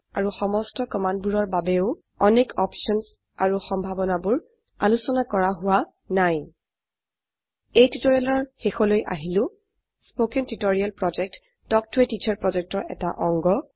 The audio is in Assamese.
আৰু সমস্ত কমান্ডবোৰৰ বাবেও অনেক অপশনস আৰু সম্ভাৱনাবোৰ আলোচনা কৰা হোৱা নাই এই টিউটোৰিয়েলৰ শেষলৈ আহিলো কথন শিক্ষণ প্ৰকল্প তাল্ক ত a টিচাৰ প্ৰকল্পৰ এটা অংগ